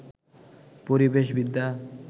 পরিবেশ বিদ্যা